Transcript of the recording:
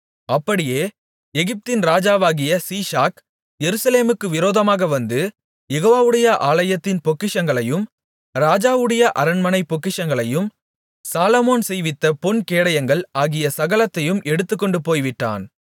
அப்படியே எகிப்தின் ராஜாவாகிய சீஷாக் எருசலேமுக்கு விரோதமாக வந்து யெகோவாவுடைய ஆலயத்தின் பொக்கிஷங்களையும் ராஜாவுடைய அரண்மனைப் பொக்கிஷங்களையும் சாலொமோன் செய்வித்த பொன்கேடயங்கள் ஆகிய சகலத்தையும் எடுத்துக்கொண்டு போய்விட்டான்